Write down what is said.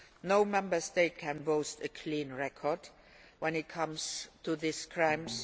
EU. No Member State can boast a clean record when it comes to these crimes.